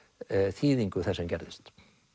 þýðingu þess sem gerðist